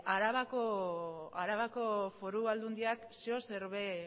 arabako foru aldundiak zeozer ere